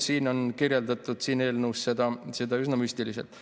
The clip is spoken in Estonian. Siin eelnõus on kirjeldatud seda üsna müstiliselt.